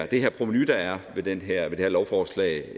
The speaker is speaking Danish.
det provenu der er ved det her det her lovforslag